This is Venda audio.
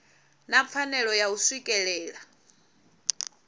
na pfanelo ya u swikelela